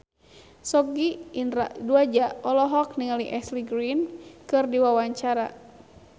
Sogi Indra Duaja olohok ningali Ashley Greene keur diwawancara